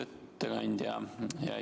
Aitäh, hea istungi juhataja!